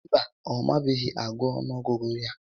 Mba, ọ mabeghị agụ ọnụọgụ ya